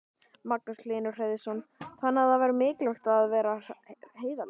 Magnús Hlynur Hreiðarsson: Þannig það er mikilvægt að vera heiðarlegur?